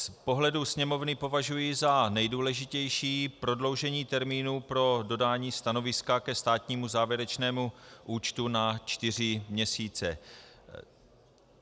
Z pohledu Sněmovny považuji za nejdůležitější prodloužení termínu pro dodání stanoviska ke státnímu závěrečnému účtu na čtyři měsíce.